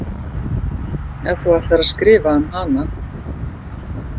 Ef þú ætlar að skrifa um hana.